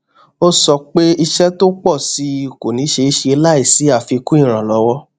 ó sọ pé iṣẹ tó ń pọ sí i kò ní ṣeé ṣe láìsí àfikún ìrànlọwọ